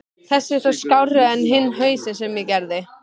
Þessi er þó skárri en hinn hausinn sem ég gerði.